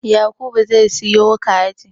Yakubu zai siyo kaji